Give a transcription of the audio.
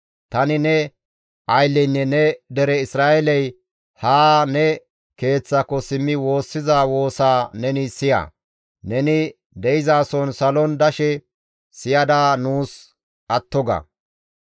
Tani ne aylleynne ne dere Isra7eeley haa ne Keeththaako simmi woossiza woosaa neni siya. Neni de7izason salon dashe siyada nuus atto ga.